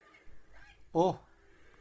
о